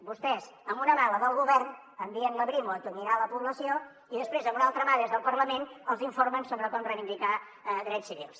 vostès amb una mà la del govern envien la brimo a atonyinar la població i després amb una altra mà des del parlament els informen sobre com reivindicar drets civils